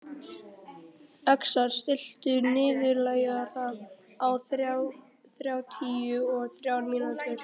Öxar, stilltu niðurteljara á þrjátíu og þrjár mínútur.